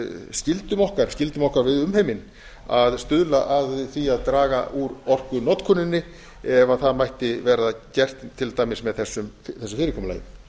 heimsskyldum okkar skyldum okkar við umheiminn að stuðla að því að draga úr orkunotkuninni ef það mætti verða gert til dæmis með þessu fyrirkomulagi